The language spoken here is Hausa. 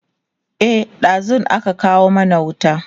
e ɗazun aka kawo mana wuta